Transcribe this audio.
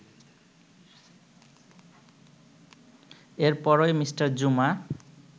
এরপরই মি. জুমা